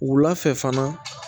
Wula fɛ fana